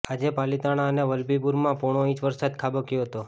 આજે પાલિતાણા અને વલભીપુરમા પોણો ઈંચ વરસાદ ખાબક્યો હતો